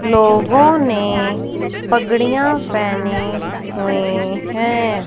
लोगों ने पगड़िया पहनी हुई हैं।